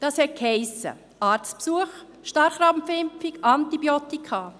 Das bedeutete: Arztbesuch, Starrkrampfimpfung und Antibiotika.